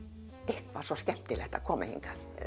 eitthvað svo skemmtilegt að koma hingað